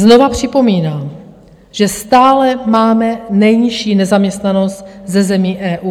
Znovu připomínám, že stále máme nejnižší nezaměstnanost ze zemí EU.